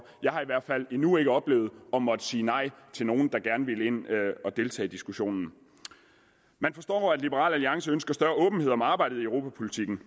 jeg har i hvert fald endnu ikke oplevet at måtte sige nej til nogen der gerne ville ind at deltage i diskussionen man forstår at liberal alliance ønsker større åbenhed om arbejdet i europapolitikken